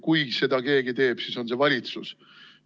Kui seda keegi teeb, siis on see valitsus.